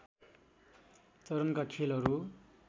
चरणका खेलहरू